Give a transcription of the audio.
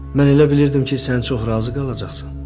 Mən elə bilirdim ki, sən çox razı qalacaqsan.